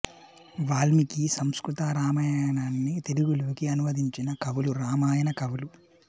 వాల్మీకి సంస్కృత రామాయణాన్ని తెలుగులోకి అనువదించిన కవులు రామాయణ కవులు